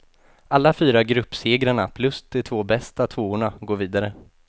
Alla fyra gruppsegrarna plus de två bästa tvåorna går vidare.